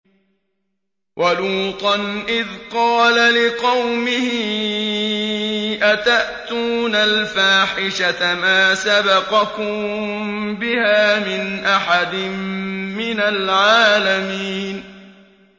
وَلُوطًا إِذْ قَالَ لِقَوْمِهِ أَتَأْتُونَ الْفَاحِشَةَ مَا سَبَقَكُم بِهَا مِنْ أَحَدٍ مِّنَ الْعَالَمِينَ